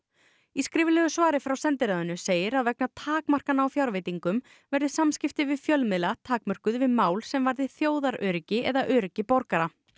í skriflegu svari frá sendiráðinu segir að vegna takmarkana á fjárveitingum verði samskipti við fjölmiðla takmörkuð við mál sem varði þjóðaröryggi eða öryggi borgara